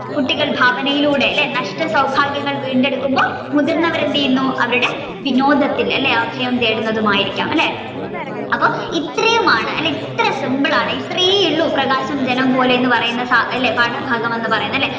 കുട്ടികൾ ഭാവനയുടെ അല്ലെ നഷ്ടസൗഭാഗ്യങ്ങങ വീണ്ടെടുക്കുമ്പോൾ മുതിർന്നവർ എന്തെയുന്നു അവരുടെ വിനോദത്തിൽ അല്ലെ അപയം തേടുന്നതുമായിരിക്കാം അല്ലെ അപ്പൊ ഇത്രയുമാണ് ഇത്രയും simple ആണ് ഇത്രേയുള്ളൂ പ്രകാശം ജലം പോലെ എന്ന് പറയുന്ന പാഠഭാഗം എന്ന് പറയുന്നത് അല്ലെ.